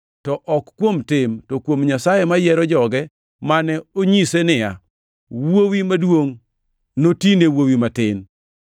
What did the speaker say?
to ok kuom tim, to kuom Nyasaye mayiero joge mane onyise niya, “Wuowi maduongʼ noti ne wuowi matin.” + 9:12 \+xt Chak 25:23\+xt*